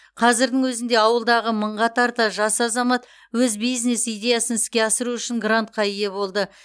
қазірдің өзінде ауылдағы мыңға тарта жас азамат өз бизнес идеясын іске асыру үшін грантқа ие болды